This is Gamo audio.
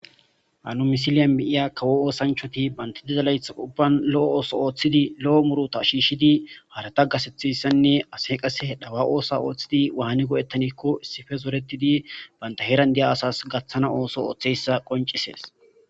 Ha misiliya nu betishe diza kawo ooththanichchati banit diza layiththa ubban loo oththo oththidi loo muruta shishshid harata gaththethizayisanne asay qase kawa oththa oththidi wan lametaanne giddonne zoretid banita heeree asas gaaththana oththo ooththizayisa qonicisese